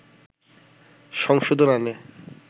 সংশোধন আনে